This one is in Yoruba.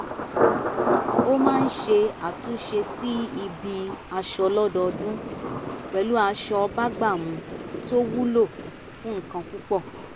ó máa ń ṣe àtúnṣe sí ibi aṣọ lọ́dọọdún pẹ̀lú aṣọ bágbàmú tó wúlò fún nǹkan púpọ̀